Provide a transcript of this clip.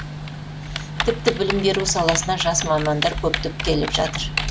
тіпті білім беру саласына жас мамандар көптеп келіп жатыр